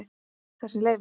Þessi Leifur.